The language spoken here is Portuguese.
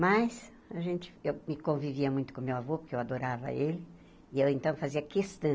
Mas a gente eu me convivia muito com meu avô, porque eu adorava ele, e eu, então, fazia questão.